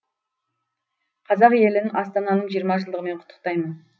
қазақ елін астананың жиырма жылдығымен құттықтаймын